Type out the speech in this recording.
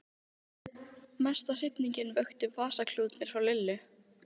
Mesta hrifningu vöktu vasaklútarnir frá Lillu.